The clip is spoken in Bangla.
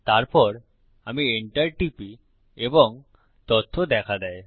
তারপর আমি এন্টার টিপি এবং তথ্য দেখা দেয়